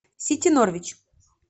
сити норвич